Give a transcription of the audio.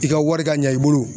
I ka wari ka ɲa i bolo